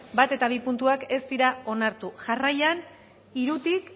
bat eta bi puntuak ez dira onartu jarraian hirutik